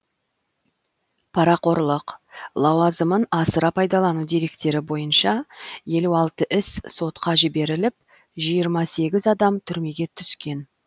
парақорлық лауазымын асыра пайдалану деректері бойынша елу алты іс сотқа жіберіліп жиырма сегіз адам түрмеге түскен